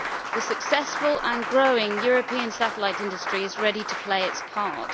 The successful and growing European satellite industry is ready to play its part.